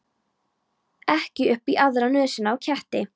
Ekki upp í aðra nösina á ketti.